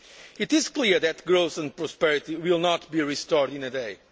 renewal. It is clear that growth and prosperity will not be restored